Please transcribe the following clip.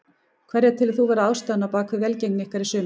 Hverja telur þú vera ástæðuna á bakvið velgengni ykkar í sumar?